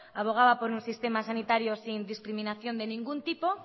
abogaba por un sistema sanitario sin discriminación de ningún tipo